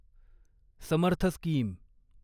Samarth scheme